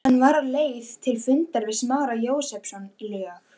Hann var á leið til fundar við Smára Jósepsson, lög